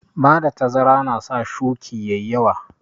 Bada tazara na sa shuƙi ƴaƴi yawa